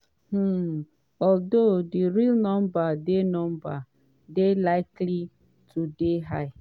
um although di real number dey number dey likely to dey higher.